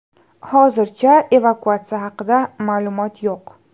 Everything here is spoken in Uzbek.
Hozircha evakuatsiya haqida ma’lumot yo‘q.